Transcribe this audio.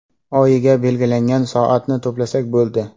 Oyiga belgilangan soatni to‘plasak bo‘ldi.